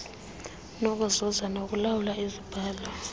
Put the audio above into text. nokuzuza nokulawula izibhalo